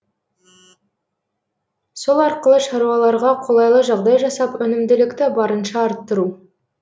сол арқылы шаруаларға қолайлы жағдай жасап өнімділікті барынша арттыру